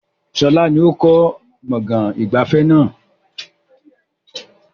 Sọlá ni ó kọ́ gbọ̀ngàn ìgbafẹ́ náà